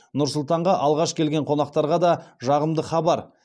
нұр сұлтанға алғаш келген қонақтарға да жағымды хабар